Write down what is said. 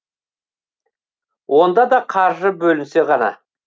онда да қаржы бөлінсе ғана